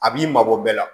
A b'i mabɔ bɛɛ la